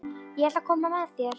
Ég ætla að koma með þér!